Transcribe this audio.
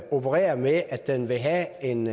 opererer med at den vil have en